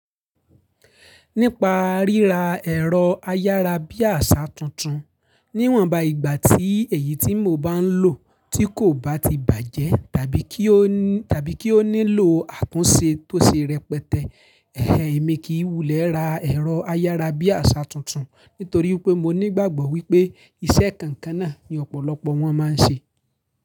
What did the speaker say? Nípa ríra ẹ̀rọ ayárabíàṣá tuntun, níwọ̀nba ìgbà tí èyí tí mò ba ń lò tí kò bá ti bàjẹ́ tàbí kí ó nílò àtúnṣe tó ṣe rẹpẹtẹ. Ẹ̀hẹ̀, èmi kìi wulẹ̀ ra ẹ̀rọ ayárabíàṣá tuntun nítorí pé mo nígbàgbọ́ wípé iṣẹ́ kan n kan náà ni ọ̀pọ̀lọpọ̀ wọn máa ń ṣe.